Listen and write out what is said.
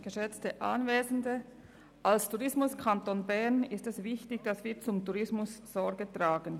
Da Bern ein Tourismuskanton ist, ist es für uns wichtig, dass wir zum Tourismus Sorge tragen.